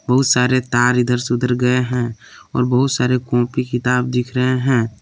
बहुत सारे तार इधर से उधर गए हैं और बहुत सारे कॉपी किताब दिख रहे हैं।